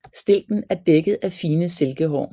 Stilken er dækket af fine silkehår